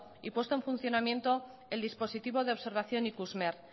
y puesto en funcionamiento el dispositivo de observación ikusmer